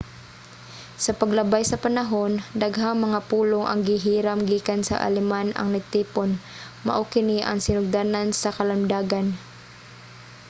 sa paglabay sa panahon daghang mga pulong ang gihiram gikan sa aleman ang natipon. mao kini ang sinugdanan sa kalamdagan